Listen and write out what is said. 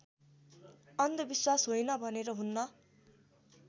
अन्धविश्वास होइन भनेर हुन्न